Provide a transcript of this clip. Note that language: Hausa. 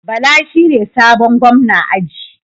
Bala shine sabon gwamna aji